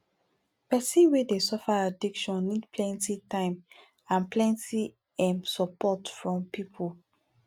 pesin wey dey suffer addiction need plenty time and plenty um support from pipu